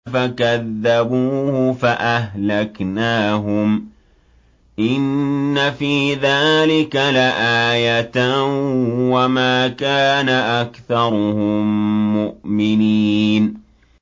فَكَذَّبُوهُ فَأَهْلَكْنَاهُمْ ۗ إِنَّ فِي ذَٰلِكَ لَآيَةً ۖ وَمَا كَانَ أَكْثَرُهُم مُّؤْمِنِينَ